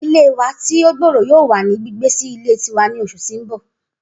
Idile wa ti o gbooro yoo wa ni gbigbe si ile tiwa ni oṣu ti n bọ